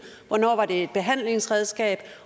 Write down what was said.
hvornår det var et behandlingsredskab